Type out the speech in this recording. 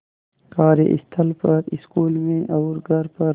कार्यस्थल पर स्कूल में और घर पर